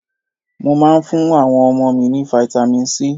Mo máa ń fún àwọn ọmọ mi ní Vitamin C.